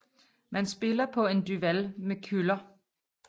Man spiller på en duval med køller